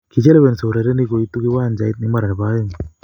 Kichelewinyo urerenik koitu kiwanjait mara ne bo oeng.